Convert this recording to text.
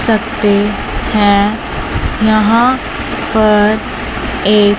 सकते हैं यहां पर एक--